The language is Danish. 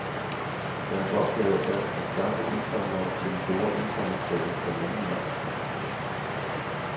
Deres opgave er at skaffe indsamlere til den store indsamlingsdag den anden maj.